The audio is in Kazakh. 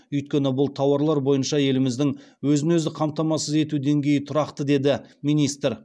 өйткені бұл тауарлар бойынша еліміздің өзін өзі қамтамасыз ету деңгейі тұрақты деді министр